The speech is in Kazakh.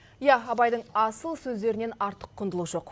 иә абайдың асыл сөздерінен артық құндылық жоқ